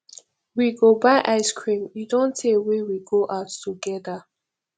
we go buy ice cream e don tey wey we go out together